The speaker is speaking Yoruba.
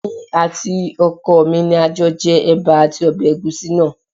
Èmi àti ọkọ mi ni a jọ jẹ ẹ̀bà àti ọbẹ̀ ẹ̀gúsí náà